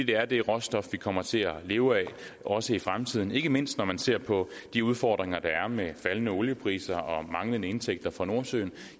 det er det råstof vi kommer til at leve af også i fremtiden ikke mindst når man ser på de udfordringer der er med faldende oliepriser og manglende indtægter fra nordsøen